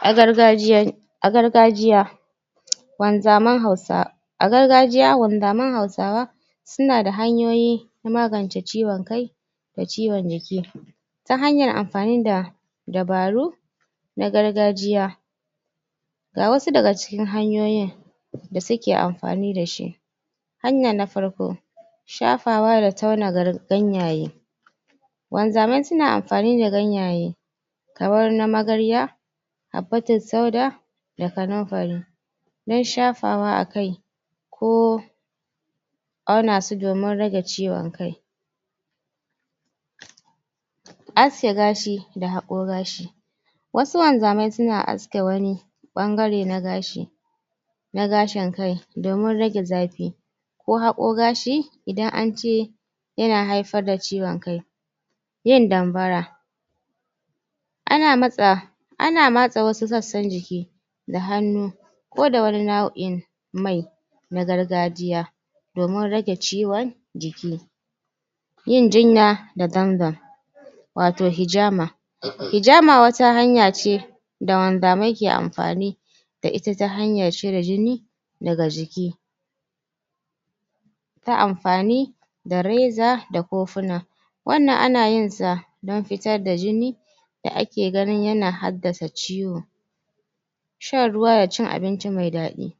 A gargajiya, a gargajiya wanzaman hausa a gargajiya, wanzaman hausawa su na da hanyoyi na magance ciwon kai da ciwon jiki ta hanyar amfani da dabaru na gargajiya ga wasu da ga cikin hanyoyin da su ke amfani da shi hanya na farko shafawa da taunawa garin ganyaye wanzamai su na amfani da ganyaye kamar na magarya abbatul sauda da kanunfari dan shafawa a kai, ko awna su domin rage ciwon kai haske gashi da haƙo gashi wasu wanzamai su na haske wani bangare na gashi na gashin kai domin rage zafi ko haƙo gashi idan an ce ya na haifar da ciwon kai yin danbara a na masa, a matsa wasu tsatsan jiki da hanu, ko da wani nawoi mai na gargajiya domin rage ciwon jiki yin jinya da dangan wato hijama. Hijama wata hanya ce dan wanzamai ke amfani da ita ta hanyar cire jini, da ga jiki ta amfani da reza da kofuna wannan a na yin sa dan fitar da jini da a ke gani ya na haddasa ciwo shan ruwa da cin abinci mai dadi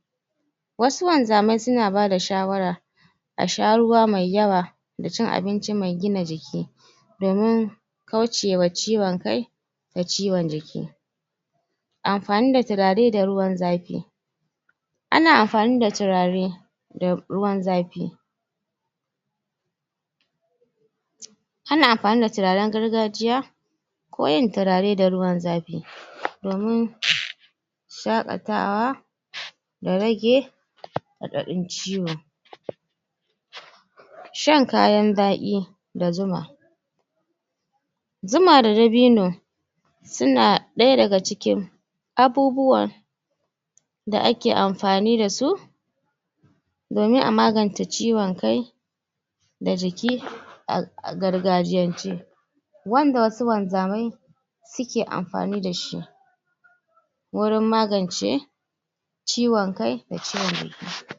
wasu wanzamai su na ba da shawara A sha ruwa mai yawa da cin abinci mai gina jiki domin kauce wa ciwon kai da ciwon jiki amfani da turare da ruwan zafi a na amfani da turare da ruwan zafi a na amfani da turaren gargajiya ko yin turare da ruwan zafi domin shakatawa da rage, haddadun ciwon shan kayan dadi da zuma zuma da dabino su na daya da ga cikin abubuwa da a ke amfani da su domin a maganta ciwon kai da jiki a gargajiyance wanda wasu wanzamai su ke amfani da shi wurin magance ciwon kai da ciwon jiki